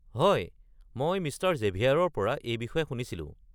হয়, মই মিষ্টাৰ জেভিয়াৰৰ পৰা এই বিষয়ে শুনিছিলো।